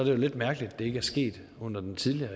jo lidt mærkeligt at det ikke er sket under den tidligere